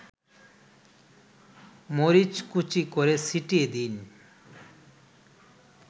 মরিচকুচি করে ছিটিয়ে দিন